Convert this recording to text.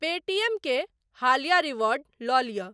पे TM के हालिया reward लऽ लिअ।